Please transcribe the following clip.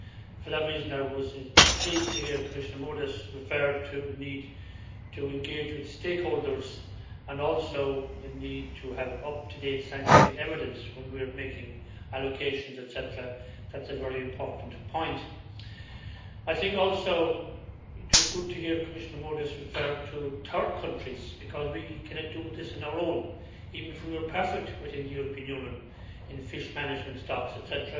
For that reason, I was pleased to hear Commissioner Moedas refer to the need to engage with stakeholders, and also the need to have up to date scientific evidence when we are making allocations, etc. That is a very important point. I think also it was good to hear Commissioner Moedas refer to third countries, because we cannot do this on our own, even if we were perfect within the European Union in fish management, stocks, etc.,